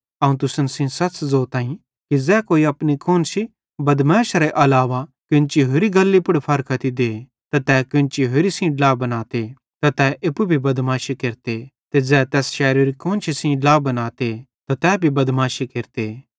अवं तुसन सेइं सच़ ज़ोताईं कि ज़ै कोई अपनी कुआन्शी बदमैशरे अलावा कोन्ची होरि गल्ली पुड़ फारख्ती दे ते तै केन्ची होरि सेइं ड्ला बनाते त तै एप्पू बदमाशी केरते ते ज़ै तैस शैरोरी कुआन्शी सेइं ड्ला बनाते त तै भी बदमाशी केरते